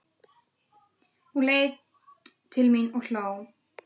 Hún leit til mín og hló.